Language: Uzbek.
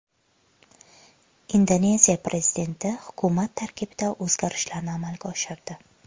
Indoneziya prezidenti hukumat tarkibida o‘zgarishlarni amalga oshirdi .